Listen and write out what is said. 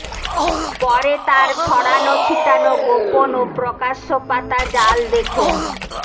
পরে তার ছড়ানো ছিটানো গোপন ও প্রকাশ্যপাতা জাল দেখে